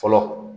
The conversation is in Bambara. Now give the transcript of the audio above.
Fɔlɔ